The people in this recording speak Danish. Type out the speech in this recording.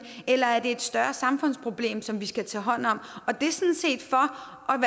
eller om det er et større samfundsproblem som vi skal tage hånd om og det